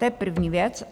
To je první věc.